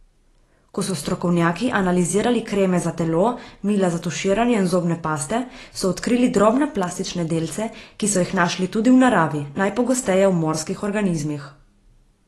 Ko so strokovnjaki analizirali kreme za telo, mila za tuširanje in zobne paste, so odkrili drobne plastične delce, ki so jih našli tudi v naravi, najpogosteje v morskih organizmih.